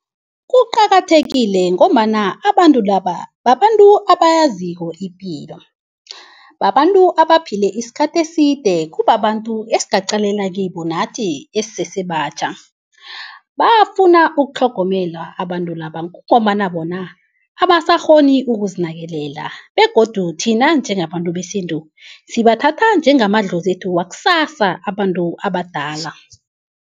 Kuqakathekile ngombana abantu laba babantu abayaziko ipilo. Babantu abaphila isikhathi eside kubabantu esingaqalela kibo nathi esisesebatjha. Bafuna ukutlhogomelwa abantu laba kungombana bona abasakghoni ukuzinakelela begodu thina njengabantu besintu, sibathatha njengamadlozethu wakusasa abantu abadala.